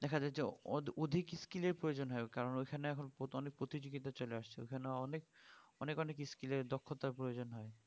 দেখা যাই যে অ~অধিক skill এর প্রয়োজন হয় কারণ ওখানে এখন অনেক প্রতিযোগিতা চলে আসছে ওখানে অনেক অনেক অনেক skill এর দক্ষতার প্রয়োজন হয়